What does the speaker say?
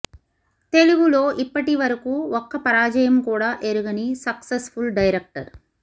తెలుగులో ఇప్పటివరకు ఒక్క పరాజయం కూడా ఎరుగని సక్సెస్ ఫుల్ డైరెక్టర్